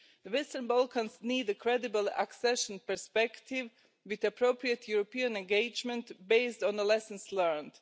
The Western Balkans need a credible accession perspective with appropriate European engagement based on the lessons learned.